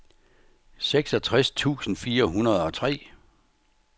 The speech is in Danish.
seksogtres tusind fire hundrede og tre